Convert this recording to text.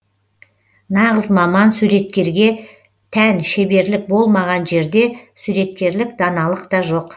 нағыз маман суреткерге тән шеберлік болмаған жерде суреткерлік даналық та жоқ